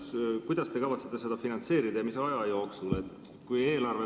Kuidas te kavatsete seda finantseerida ja mis aja jooksul?